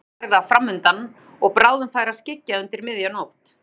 Hásumarið var fram undan og bráðum færi að skyggja undir miðja nótt.